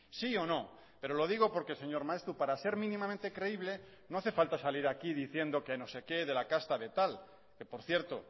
sí o no pero lo digo porque señor maeztu para ser minimamente creíble no hace falta salir aquí diciendo que no sé qué de la casta de tal que por cierto